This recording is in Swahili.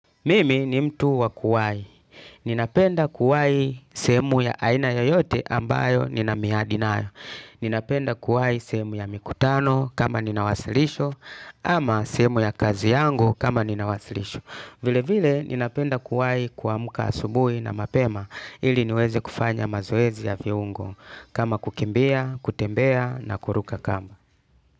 Mimi ni mtu wakuwai. Ninapenda kuwai semu ya aina yoyote ambayo nina mihadi nayo. Ninapenda kuwai sehemu ya mikutano kama ninawasilisho ama sehemu ya kazi yangu kama ninawasilisho. Vile vile ninapenda kuwai kuamuka asubui na mapema ili niweze kufanya mazoezi ya viungo kama kukimbia, kutembea na kuruka kamba.